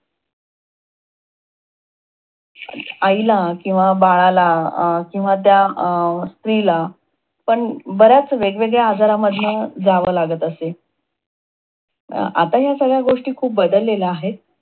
आईला किंवा बाळाला अं किंवा त्या अं स्त्रीला पण बऱ्याच वेगवेगळ्या आजारामधन जाव लागत असे. आता ह्या गोष्टी खूप बदलेल आहे.